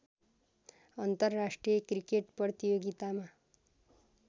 अन्तर्राष्ट्रिय क्रिकेट प्रतियोगितामा